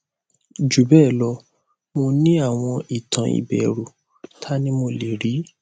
jubelo mo ni awon itan iberu tani mo le ri